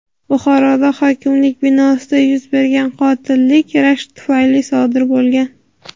Buxoroda hokimlik binosida yuz bergan qotillik rashk tufayli sodir bo‘lgan.